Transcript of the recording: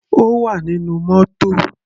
Ó wà nínú mótò.